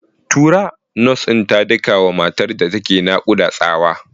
Tura! Nas ɗin ta daka wa matar da ke nakuda tsawa.